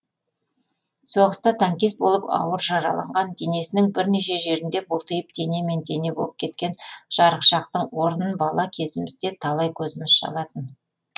соғыста танкист болып ауыр жараланған денесінің бірнеше жерінде бұлтиып денемен дене болып кеткен жарықшақтың орнын бала кезімізде талай көзіміз шалатын